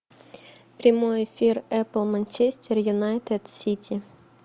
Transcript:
прямой эфир апл манчестер юнайтед сити